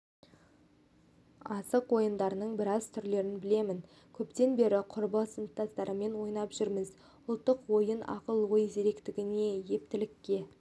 асық ойындарының біраз түрлерін білемін көптен бері құрбы сыныптастарыммен ойнап жүрміз ұлттық ойын ақыл-ой зеректігіне ептілікке